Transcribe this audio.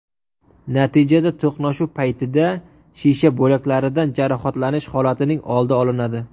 Natijada to‘qnashuv paytida shisha bo‘laklaridan jarohatlanish holatining oldi olinadi.